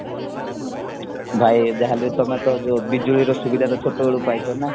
ଭାଇ ଯାହାହେଲେ ତମେତ ବିଜୁଳିର ସୁବିଧାଟା ଛୋଟବେଳୁ ପାଇଛନା